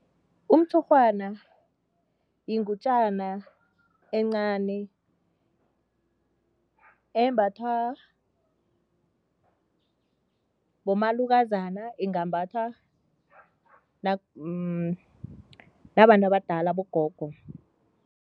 Umtshurhwana yingutjana encani embathwa bomalukazana, ingambhathwa nabantu abadala abogogo.